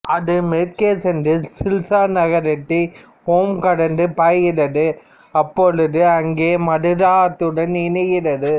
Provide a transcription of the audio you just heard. அது மேற்கே சென்று சில்சார் நகரத்தைௐ கடந்து பாய்கிறது அப்பொழுது அங்கே மதுரா ஆற்றுடன் இணைகிறது